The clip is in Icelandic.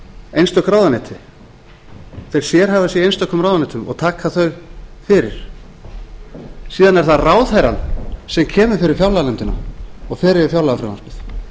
einstök ráðuneyti þeir sérhæfa sig í einstökum ráðuneytum og taka þau fyrir síðan er það ráðherrann sem kemur fyrir fjárlaganefndina og fer yfir fjárlagafrumvarpið